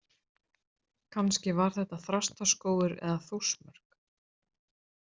Kannski var þetta Þrastarskógur eða Þórsmörk.